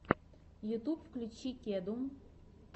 ютьюб включи кеду